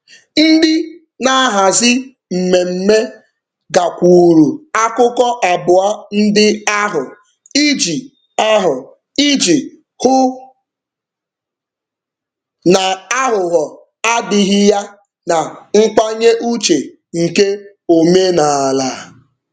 Ndị na-ahazi mmemme gakwuuru akụkụ abụọ ndị ahụ iji ahụ iji hụ na aghụghọ adịghị ya na nkwanye uche nke omenaala.